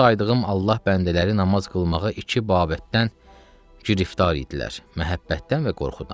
Bu saydığım Allah bəndələri namaz qılmağa iki babətdən giriftar idilər: məhəbbətdən və qorxudan.